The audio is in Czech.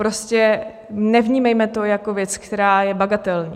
Prostě nevnímejme to jako věc, která je bagatelní.